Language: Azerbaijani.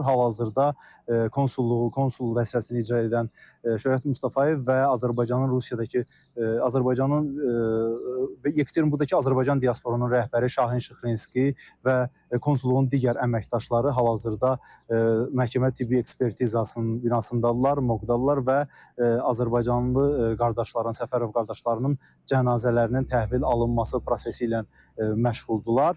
Hal-hazırda konsulluğu, konsul vəzifəsini icra edən Şöhrət Mustafayev və Azərbaycanın Rusiyadakı Azərbaycanın Yekaterinburqdakı Azərbaycan diasporunun rəhbəri Şahin Şıxlinski və konsulluğun digər əməkdaşları hal-hazırda məhkəmə-tibbi ekspertizasının binasındadırlar, morqdadılar və azərbaycanlı qardaşların, Səfərov qardaşlarının cənazələrinin təhvil alınması prosesi ilə məşğuldurlar.